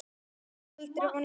Segðu aldrei: Vonlaus vinna!